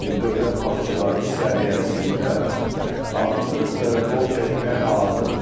Yəni dövlət başçıların səviyyəsində artıq qol çəkməyə hazırdır.